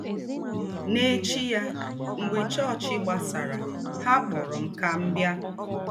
N’ēchí yà, mḡbè chọọ́chị gbàsàrà, hà kpọ̀rọ̀ m kà m bịa.